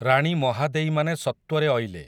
ରାଣୀ ମହାଦେଈମାନେ ସତ୍ୱରେ ଅଇଲେ